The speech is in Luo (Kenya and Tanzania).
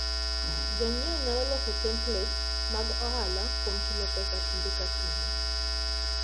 Jonyiewo nyalo loso templates mag ohala kuom chulo pesa kinde ka kinde.